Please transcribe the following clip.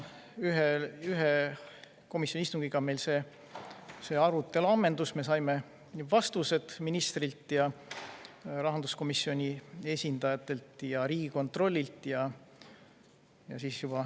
Ühe komisjoni istungiga meil see arutelu ammendus, me saime vastused ministrilt, rahanduskomisjoni esindajatelt ja Riigikontrollilt.